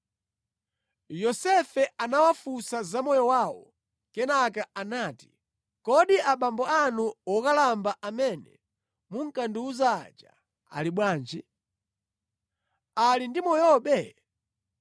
Yosefe anawafunsa za moyo wawo kenaka anati, “Kodi abambo anu wokalamba amene munkandiwuza aja ali bwanji? Ali ndi moyobe?”